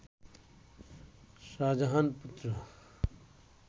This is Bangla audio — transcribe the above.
শাহজাহান-পুত্র